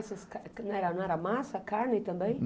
Não era, não era massa a carne também?